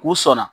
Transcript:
K'u sɔnna